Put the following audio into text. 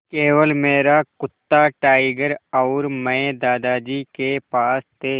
केवल मेरा कुत्ता टाइगर और मैं दादाजी के पास थे